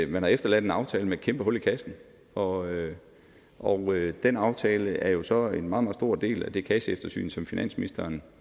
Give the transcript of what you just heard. man har efterladt en aftale med et kæmpe hul i kassen og og den aftale er jo så en meget meget stor del af det kasseeftersyn som finansministeren